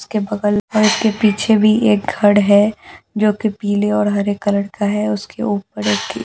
उसके बगल और उसके पीछे भी एक घड़ है जो कि पीले और हरे कलर का है उसके ऊपर रखी यहां --